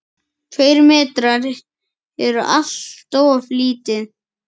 Tveir metrar eru alltof lítið.